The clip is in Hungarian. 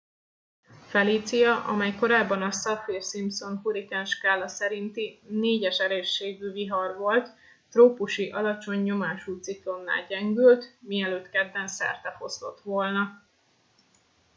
felicia amely korábban a saffir simpson hurrikánskála szerinti 4. erősségű vihar volt trópusi alacsony nyomású ciklonná gyengült mielőtt kedden szertefoszlott volna